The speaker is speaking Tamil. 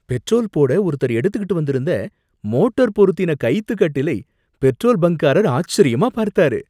பெட்ரோல் போட ஒருத்தர் எடுத்துக்கிட்டு வந்திருந்த மோட்டார் பொருத்தின கயித்துக் கட்டிலை பெட்ரோல் பங்க்காரர் ஆச்சரியமா பார்த்தாரு.